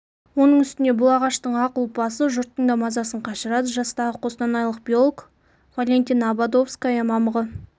оның үстіне бұл ағаштың ақ ұлпасы жұрттың да мазасын қашырады жастағы қостанайлық биолог валентина ободовская мамығы